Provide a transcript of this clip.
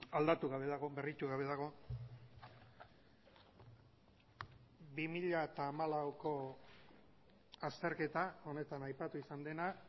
aldatu gabe dago berritu gabe dago bi mila hamalauko azterketa honetan aipatu izan dena